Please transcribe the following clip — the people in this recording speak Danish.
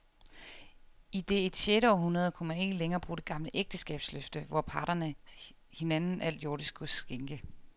I det et sjette århundrede kunne man ikke længere bruge det gamle ægteskabsløfte, hvor parterne hinanden alt jordisk gods skænke.